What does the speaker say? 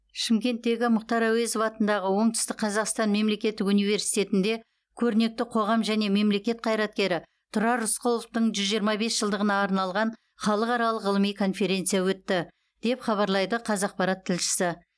шымкенттегі мұхтар әуезов атындағы оңтүстік қазақстан мемлекеттік университетінде көрнекті қоғам және мемлекет қайраткері тұрар рысқұловтың жүз жиырма бес жылдығына арналған халықаралық ғылыми конференция өтті деп хабарлайды қазақпарат тілшісі